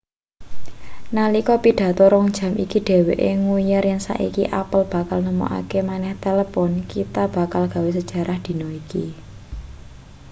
nalika pidato 2 jam iki dheweke ngujar yen saiki apple bakal nemokake maneh telpon kita bakal gawe sejarah dina iki